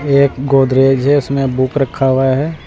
एक गोदरेज है उसमें बुक रखा हुआ है।